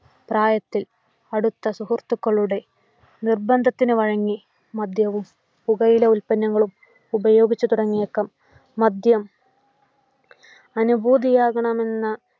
പ്രായത്തിൽ അടുത്ത സുഹൃത്തുക്കളുടെ നിർബന്ധത്തിനു വഴങ്ങി മദ്യവും പുകയില ഉൽപ്പന്നങ്ങളും ഉപയോഗിച്ച് തുടങ്ങിയേക്കാം. മദ്യം അനുഭൂതിയാകണമെന്ന